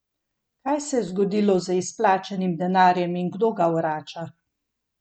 Kaj se je zgodilo z izplačanim denarjem in kdo ga vrača?